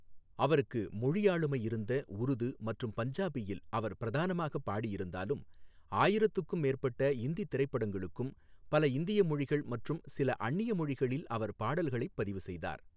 அவருக்கு மொழி ஆளுமை இருந்த உருது மற்றும் பஞ்சாபியில் அவர் பிரதானமாகப் பாடியிருந்தாலும் ஆயிரத்துக்கும் மேற்பட்ட இந்தி திரைப்படங்களுக்கும், பல இந்திய மொழிகள் மற்றும் சில அந்நிய மொழிகளில் அவர் பாடல்களைப் பதிவு செய்தார்.